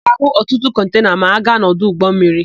A ga-áhụ̀ ọtụtụ kọntena ma a gaa n'ọdụ ụgbọmmiri.